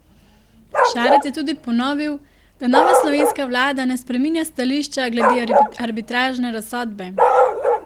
Šarec je tudi ponovil, da nova slovenska vlada ne spreminja stališča glede arbitražne razsodbe.